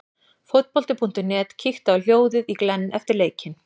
Fótbolti.net kíkti á hljóðið í Glenn eftir leikinn.